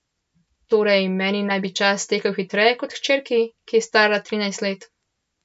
Torej, meni naj bi čas tekel hitreje kot hčerki, ki je stara trinajst let.